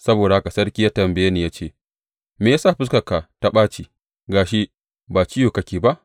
Saboda haka sarki ya tambaye ni ya ce, Me ya sa fuskarka ta ɓaci, ga shi, ba ciwo kake ba?